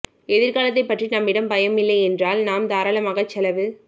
எதிர்காலத்தை பற்றி நம்மிடம் பயம் இல்லை என்றால் நாம் தாராளமாக செலவு